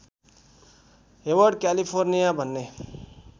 Hayward California भन्ने